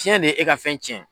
Piyɛn de e ka fɛn tiɲɛ.